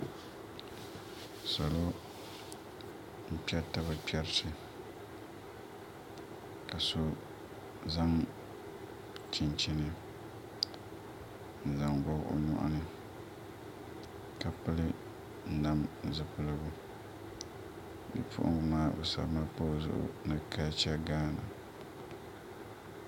Salo n kpɛriti bi kpɛriti ka so zaŋ chinchini n zaŋ gobi o nyoɣani ka pili nam zipiligu Bipuɣungi maa bi sabimi pa o zuɣu ni kalcha gaana